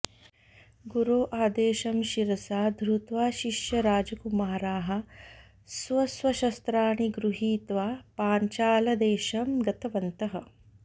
गुरो आदेशं शिरसा धृत्वा शिष्यराजकुमाराः स्व स्वशस्त्राणि गृहीत्वा पाञ्चालदेशं गतवन्तः